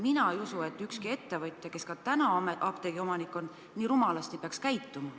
Mina ei usu, et ükski ettevõtja, kes praegu apteegiomanik on, nii rumalasti võiks käituda.